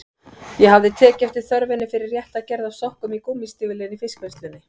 Ég hafði tekið eftir þörfinni fyrir rétta gerð af sokkum í gúmmístígvélin í fiskvinnslunni.